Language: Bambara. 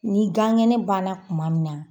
Ni gankɛnɛ ban na kuma min na